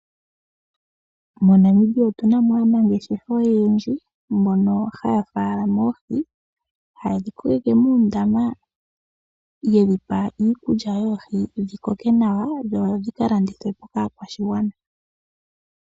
MoNamibia otuna mo aanangeshefa oyendji, mono haya faalama oohi, haye dhi koleke moondama, yo taye dhipe iikulya yoohi dhikoke nawa, dhi vule okulandithwapo kaakwashigwana.